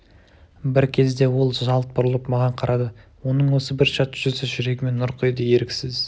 бір кезде ол жалт бұрылып маған қарады оның осы бір шат жүзі жүрегіме нұр құйды еріксіз